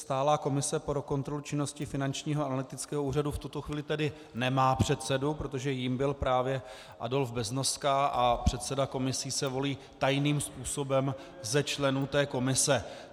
Stálá komise pro kontrolu činnosti Finančního analytického úřadu v tuto chvíli tedy nemá předsedu, protože jím byl právě Adolf Beznoska a předseda komisí se volí tajným způsobem ze členů té komise.